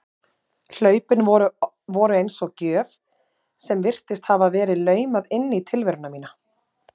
Hlaupin voru eins og gjöf sem virtist hafa verið laumað inn í tilveru mína.